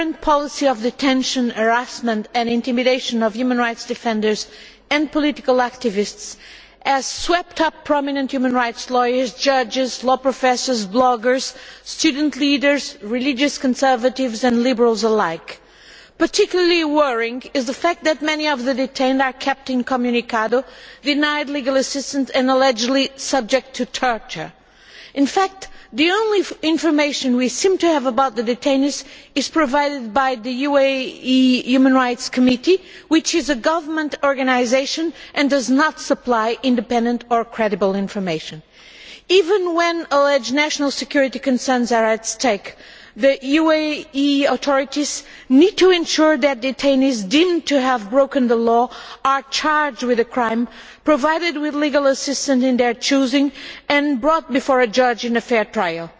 The current policy of detention, harassment and intimidation of human rights defenders and political activists has swept up prominent human rights lawyers, judges, law professors, bloggers, student leaders, religious conservatives and liberals alike. Particularly worrying is the fact that many of the detained are kept incommunicado, denied legal assistance and allegedly subjected to torture. In fact the only information we seem to have about the detainees is provided by the UAE Human Rights Committee, which is a government organisation and does not supply independent or credible information. Even when alleged national security concerns are at stake, the UAE authorities need to ensure that detainees deemed to have broken the law are charged with a crime, provided with legal assistance of their choosing and brought before a judge in a fair trial.